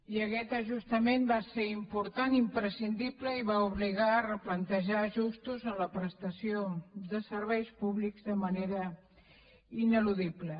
i aquest ajustament va ser important i imprescindible i va obligar a replantejar ajustos en la prestació de serveis públics de manera ineludible